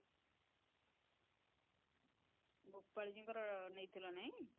ଗୋପାଳି ଜି ଙ୍କର ନେଇଥିଲା ନାଇଁ